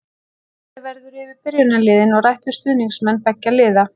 Farið verður yfir byrjunarliðin og rætt við stuðningsmenn beggja liða.